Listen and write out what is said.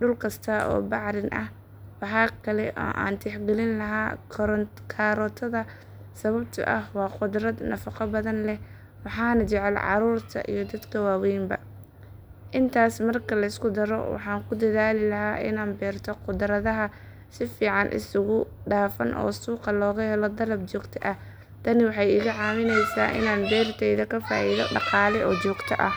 dhul kasta oo bacrin ah. Waxaa kale oo aan tixgelin lahaa kaarootada sababtoo ah waa khudrad nafaqo badan leh waxaana jecel carruurta iyo dadka waaweynba. Intaas marka la isku daro waxaan ku dadaali lahaa inaan beerto khudradaha si fiican isugu dhafan oo suuqa looga helo dalab joogto ah. Tani waxay iga caawinaysaa inaan beertayda ka faa’iido dhaqaale oo joogto ah.